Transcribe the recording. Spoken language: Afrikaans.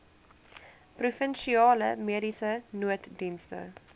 provinsiale mediese nooddienste